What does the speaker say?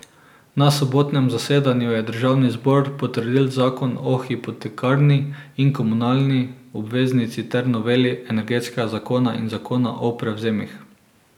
Na sobotnem zasedanju je državni zbor potrdil zakon o hipotekarni in komunalni obveznici ter noveli energetskega zakona in zakona o prevzemih.